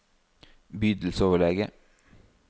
bydelsoverlege